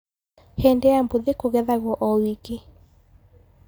Hindĩ ya bũthi kũgethagwo o wiki.